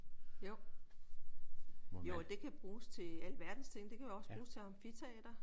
Jo. Jo og det kan bruges til alverdens ting. Det kan jo også bruges til amfiteater